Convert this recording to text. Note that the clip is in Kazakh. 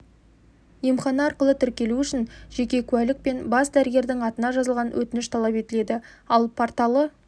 емхана арқылы тіркелу үшін жеке куәлік пен бас дәрігердің атына жазылған өтініш талап етіледі ал порталы